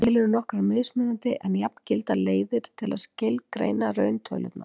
Til eru nokkrar mismunandi en jafngildar leiðir til að skilgreina rauntölurnar.